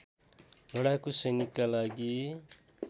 लडाकु सैनिकका लागि